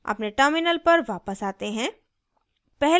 अपने terminal पर वापस आते हैं